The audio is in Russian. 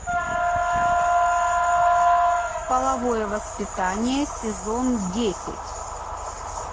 половое воспитание сезон десять